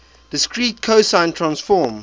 discrete cosine transform